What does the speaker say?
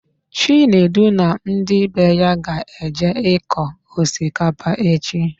Chinedu na ndị be ya ga-eje ịkọ osikapa echi.